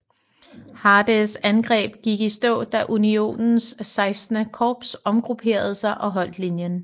Hardees angreb gik i stå da Unionens XVI korps omgrupperede sig og holdt linjen